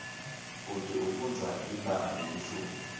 bhuti ufundza libanga lelishumi